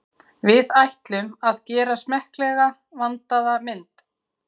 Við ætlum að gera smekklega, vandaða mynd.